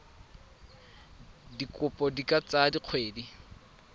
dikopo di ka tsaya dikgwedi